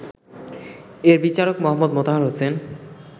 এর বিচারক মো. মোতাহার হোসেন